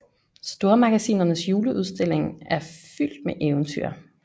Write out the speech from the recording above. Stormagasinernes juleudstilling er fyldt med eventyr